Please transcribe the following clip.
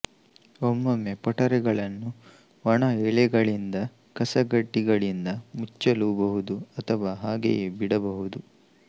ಒಮ್ಮೊಮ್ಮೆ ಪೊಟರೆಗಳನ್ನು ಒಣ ಎಲೆಗಳಿಂದ ಕಸಕಡ್ಡಿಗಳಿಂದ ಮುಚ್ಚಲೂ ಬಹುದು ಅಥವಾ ಹಾಗೆಯೇ ಬಿಡಬಹುದು